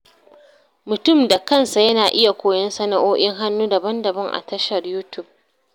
Mutum da kansa yana iya koyon sanao'i'n hannu daban-daban a tashar Yutub.